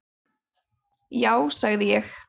Já sagði ég.